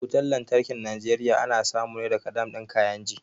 Wutan lantarkin Najeriya ana samu ne daga dam ɗin kainji